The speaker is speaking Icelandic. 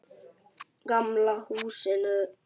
Gamla húsinu.